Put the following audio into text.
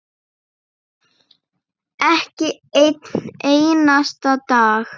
Ekki einn einasta dag.